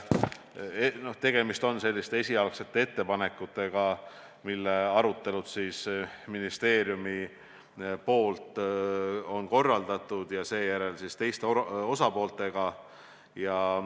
Tegemist on esialgsete ettepanekutega, mille kohta on ministeerium arutelusid korraldanud, sh teiste osapooltega.